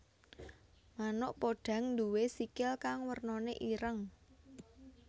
Manuk podhang nduwé sikil kang wernané ireng